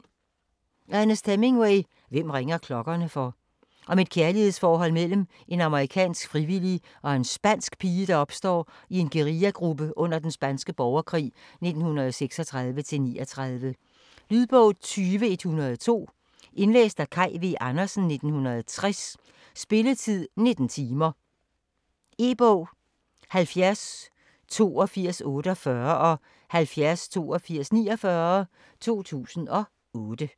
Hemingway, Ernest: Hvem ringer klokkerne for? Om et kærlighedsforhold mellem en amerikansk frivillig og en spansk pige, der opstår i en guerillagruppe under den spanske borgerkrig 1936-39. Lydbog 20102 Indlæst af Kaj V. Andersen, 1960. Spilletid: 19 timer, 0 minutter. E-bog 708248 og 708249 2008.